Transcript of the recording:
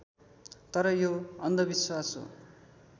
तर यो अन्धविश्वास हो